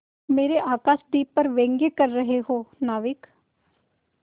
मेरे आकाशदीप पर व्यंग कर रहे हो नाविक